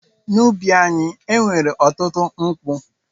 N’ubi anyị, e nwere ọtụtụ nkwụ.